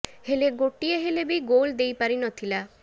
ହେଲେ ଗୋଟିଏ ହେଲେ ବି ଗୋଲ୍ ଦେଇ ପାରି ନଥିଲା